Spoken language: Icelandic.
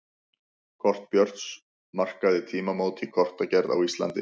Kort Björns markaði tímamót í kortagerð á Íslandi.